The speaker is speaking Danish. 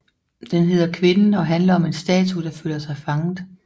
Den hedder Kvinden og handler om en statue der føler sig fanget